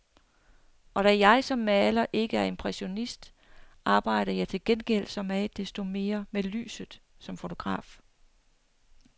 Og da jeg som maler ikke er impressionist, arbejder jeg til gengæld så meget desto mere med lyset som fotograf.